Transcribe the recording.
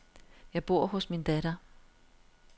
Jeg bor hos min datter.